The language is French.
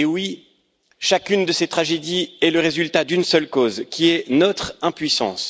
Mais oui, chacune de ces tragédies est le résultat d'une seule cause qui est notre impuissance.